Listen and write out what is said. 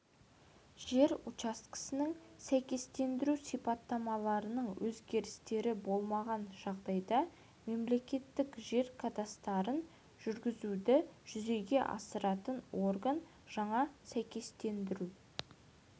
жер учаскесінің сәйкестендіру сипаттамаларының өзгерістері болмаған жағдайда мемлекеттік жер кадастрын жүргізуді жүзеге асыратын орган жаңа сәйкестендіру